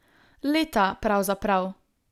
Leta, pravzaprav.